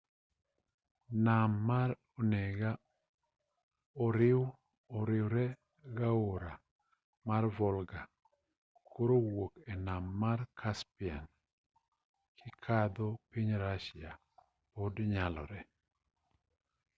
nam mar onega oriwregi aora mar volga koro wuok e nam mar caspian kikadho piny russia pod nyalore